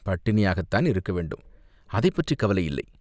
பட்டினியாகத்தான் இருக்க வேண்டும், அதைப் பற்றிக் கவலை இல்லை